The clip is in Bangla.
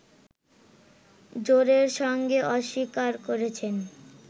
জোরের সঙ্গে অস্বীকার করেছেন